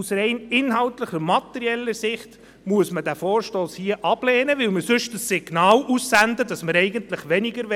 Aus rein inhaltlich-materieller Sicht muss man den Vorstoss hier ablehnen, weil wir sonst das Signal aussenden, dass wir eigentlich weniger wollen.